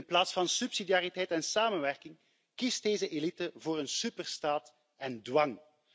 In plaats van subsidiariteit en samenwerking kiest deze elite voor een superstaat en dwang.